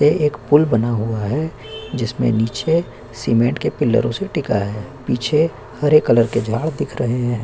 यहाँ एक पुल बना हुआ है जिसके नीचे सीमेंट के पिलरों से टिका है पीछे हरे कलर के झाड़ दिख रहे है।